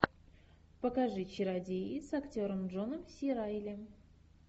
покажи чародеи с актером джоном си райли